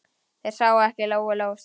Þær sáu ekki Lóu-Lóu strax.